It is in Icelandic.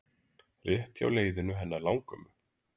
Rétt hjá leiðinu hennar langömmu.